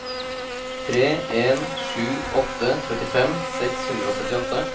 tre en sju åtte trettifem seks hundre og syttiåtte